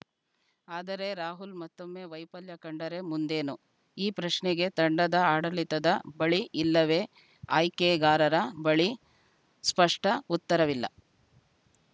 ಆದರೆ ರಾಹುಲ್‌ ಮತ್ತೊಮ್ಮೆ ವೈಫಲ್ಯ ಕಂಡರೆ ಮುಂದೇನು ಈ ಪ್ರಶ್ನೆಗೆ ತಂಡದ ಆಡಳಿತದ ಬಳಿ ಇಲ್ಲವೇ ಆಯ್ಕೆಗಾರರ ಬಳಿ ಸ್ಪಷ್ಟಉತ್ತರವಿಲ್ಲ